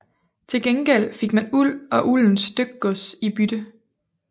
Til gengæld fik man uld og uldent stykgods i bytte